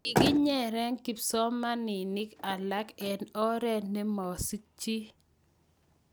Kikinyere kipsomaninik alak eng' oret na masikchini.